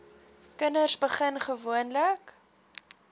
kinders begin gewoonlik